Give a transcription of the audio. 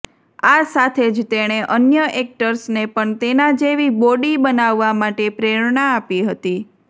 આ સાથે જ તેણે અન્ય એક્ટર્સને પણ તેના જેવી બોડી બનાવવા માટે પ્રેરણા આપી હતી